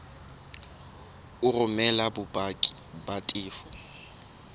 o romele bopaki ba tefo